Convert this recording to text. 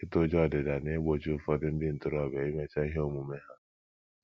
Ịtụ ụjọ ọdịda na - egbochi ụfọdụ ndị ntorobịa imecha ihe omume ha